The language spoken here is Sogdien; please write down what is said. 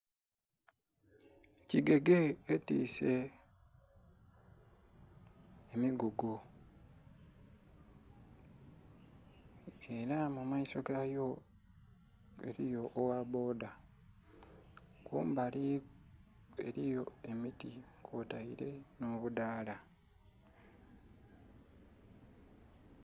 Kigege etise emigugu era mumaiso gayo eriyo ogha bbodha kumbali eriyo emiti kwoteile nho budhala.